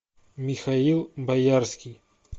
михаил боярский